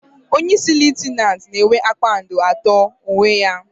Onyeisi Litenant na enwe kpakpando atọ n'uwe ya